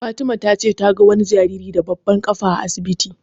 Fatima ta ce ta ga wani jariri da babbar ƙafa a asibiti.